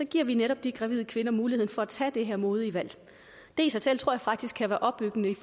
giver vi netop de gravide kvinder muligheden for at tage det her modige valg det i sig selv tror jeg faktisk kan være opbyggeligt